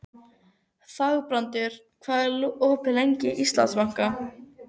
Þangbrandur, hvað er opið lengi í Íslandsbanka?